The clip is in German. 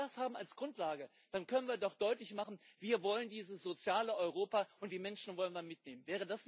Wenn wir das als Grundlage haben, dann können wir doch deutlich machen Wir wollen dieses soziale Europa, und die Menschen wollen wir mitnehmen.